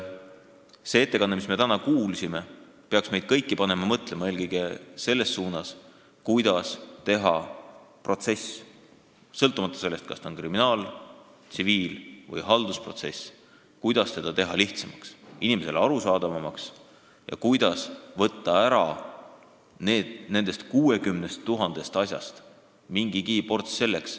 See ettekanne, mida me täna kuulsime, peaks meid kõiki panema mõtlema eelkõige selle üle, kuidas teha protsess sõltumata sellest, kas tegu on kriminaal-, tsiviil- või haldusmenetluse asjaga, lihtsamaks, inimesele arusaadavamaks ja kuidas nendest 60 000 asjast mingigi ports eemaldada.